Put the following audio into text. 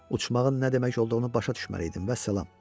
Uçmağın nə demək olduğunu başa düşməli idin, vəssalam.